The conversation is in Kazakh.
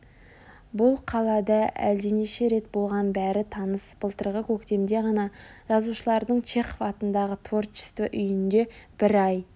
бұл қалада ол әлденеше рет болған бәрі таныс былтырғы көктемде ғана жазушылардың чехов атындағы творчество үйінде бір ай